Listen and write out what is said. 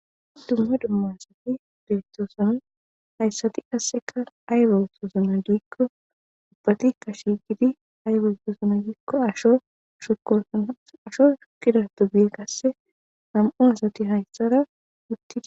dumma dumma asati beestoosona hayssati asseka ayiba otosona giikko ubbati kashigidi aybe otosona giikko ashoshosnaasho shukkida tobie qasse nam7u asati hayssara wuttidi